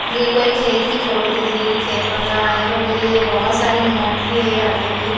ये कोई खेत की फोटो दिख रही खेत वगैरह है यहां पे पूरी बहोत सारी मट्टी है हुई।